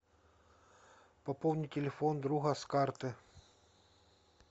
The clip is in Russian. пополни телефон друга с карты